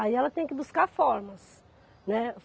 Aí ela tem que buscar formas, né.